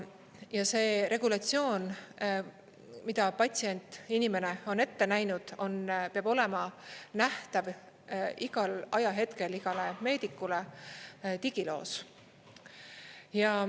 Ja see regulatsioon, mida patsient, inimene on ette näinud, peab olema nähtav igal ajahetkel igale meedikule digiloos.